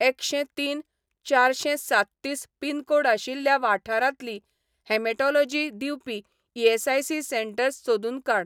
एकशें तीन चारशेंसाततीस पिनकोड आशिल्ल्या वाठारांतलीं हेमेटोलॉजी दिवपी ईएसआयसी सेंटर्स सोदून काड.